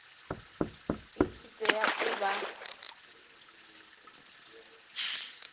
i tshi tea u vha